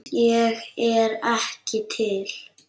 Ég er ekki til.